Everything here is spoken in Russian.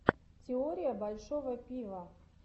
теория большого пива